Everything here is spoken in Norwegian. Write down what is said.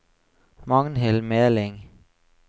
Magnhild Meling